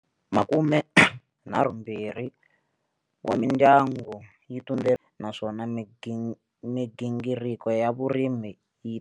Makumenharhumbirhi wa mindyangu yi naswona migingiri ko ya vurimi.